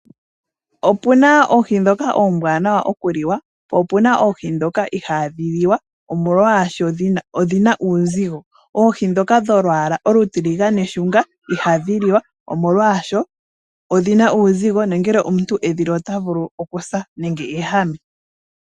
Opuna oohi dhoka ombwaanawa okuli wa, po opuna oohi dhoka ihaadhi li wa omolwa sho oshina uuzigo. Oohi dhoka dholwaala olutiligane shunga ohadhi li wa omolwaasho oshina uuzigo nongele omuntu edhili ota vulu oku sa nenge eehame.